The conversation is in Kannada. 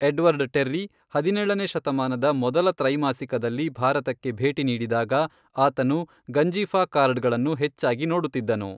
ಎಡ್ವರ್ಡ್ ಟೆರ್ರಿ, ಹದಿನೇಳನೇ ಶತಮಾನದ ಮೊದಲ ತ್ರೈಮಾಸಿಕದಲ್ಲಿ ಭಾರತಕ್ಕೆ ಭೇಟಿ ನೀಡಿದಾಗ, ಆತನು ಗಂಜಿಫಾ ಕಾರ್ಡ್ಗಳನ್ನು ಹೆಚ್ಚಾಗಿ ನೋಡುತ್ತಿದ್ದನು.